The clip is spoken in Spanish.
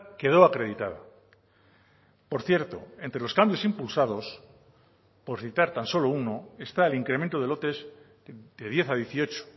quedó acreditada por cierto entre los cambios impulsados por citar tan solo uno está el incremento de lotes de diez a dieciocho